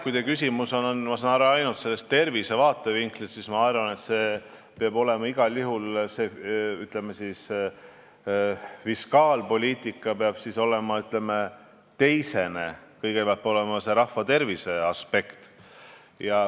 Kui teie küsimus oli esitatud, ma sain nii aru, ainult tervise vaatevinklist, siis ma vastan, et minu arvates peab fiskaalpoliitika olema igal juhul teisene, esimesel kohal peab olema rahvatervise aspekt.